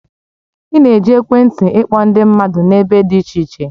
Ị na-eji ekwentị ịkpọ ndị mmadụ n'ebe dị iche iche